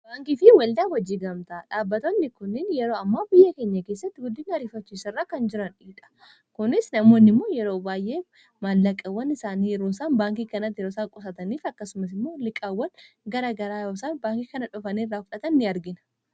baankiifi waldaa wajjii gamtaa dhaabbatootni kuniin yeroo ammoo biyye keenya keessatti guddiin hariifachiisa irra kan jirandhidha kunis namoonni immoo yeroo baay'ee maallaqawwan isaanii ruusan baankii kana terosaa qusataniif akkasumas immoo liqaawwan gara garaayosan baankii kana dhufaniiirraa hufdhatan ni argina